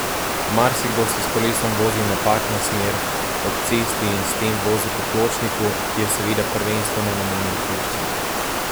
Marsikdo se s kolesom vozi v napačno smer ob cesti in s tem vozi po pločniku, ki je seveda prvenstveno namenjen pešcem.